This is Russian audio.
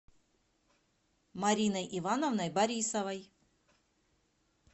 мариной ивановной борисовой